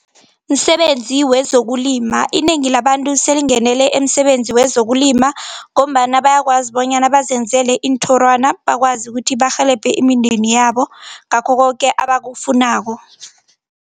Msebenzi wezokulima inengi labantu selingenele emsebenzi wezokulima ngombana bayakwazi bonyana bazenzele iinthorwana bakwazi ukuthi barhelebhe imindeni yabo ngakho koke abakufunako.